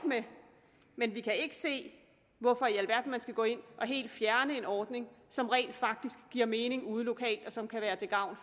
med men vi kan ikke se hvorfor i alverden man skal gå ind og helt fjerne en ordning som rent faktisk giver mening ude lokalt og som kan være til gavn